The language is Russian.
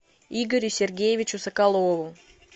игорю сергеевичу соколову